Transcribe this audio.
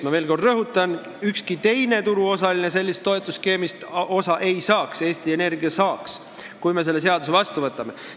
Ma veel kord rõhutan: ükski teine turuosaline sellest toetusskeemist osa ei saaks, Eesti Energia saaks, kui me selle seaduse vastu võtame.